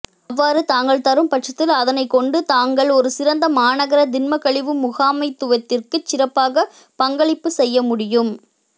அவ்வாறு தாங்கள் தரும் பட்சத்தில் அதனைக் கொண்டு தாங்கள் ஒரு சிறந்த மாநகர திண்மக்கழிவு முகாமைத்துவத்திற்குச் சிறப்பாகப் பற்களிப்புச் செய்யமுடியும்